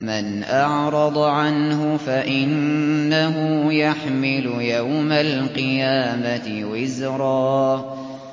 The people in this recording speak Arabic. مَّنْ أَعْرَضَ عَنْهُ فَإِنَّهُ يَحْمِلُ يَوْمَ الْقِيَامَةِ وِزْرًا